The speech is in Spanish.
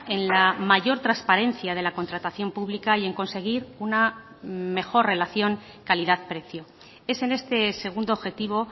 en la mayor transparencia de la contratación pública y en conseguir una mejor relación calidad precio es en este segundo objetivo